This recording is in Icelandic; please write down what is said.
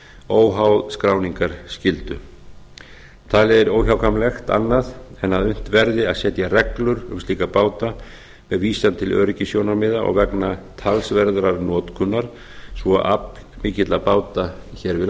óháð skráningarskyldu það er óhjákvæmilegt annað en unnt verði að setja reglur um slíka báta með vísan til öryggissjónarmiða vegna talsverðrar notkunar svo aflmikilla báta hér við